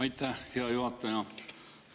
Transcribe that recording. Aitäh, hea juhataja!